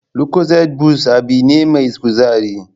Lucozade boost abin ne mai kuzari